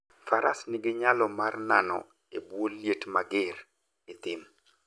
Faras nigi nyalo mar nano e bwo liet mager e thim.